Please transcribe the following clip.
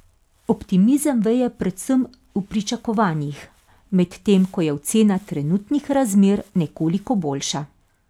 Optimizem veje predvsem v pričakovanjih, medtem ko je ocena trenutnih razmer nekoliko boljša.